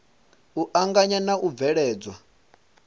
u anganya na u bveledzwa